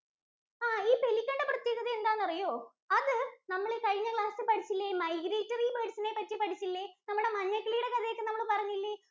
ആഹ് ഈ Pelican ന്‍റെ പ്രത്യേകത എന്താന്നറിയോ? അത് നമ്മളീ കഴിഞ്ഞ class ല്‍ പഠിച്ചില്ലേ migratory birds ഇനെ പറ്റി പഠിച്ചില്ലേ? നമ്മുടെ മഞ്ഞക്കിളിയുടെ കഥയൊക്കെ നമ്മള്‍ പറഞ്ഞില്ലേ?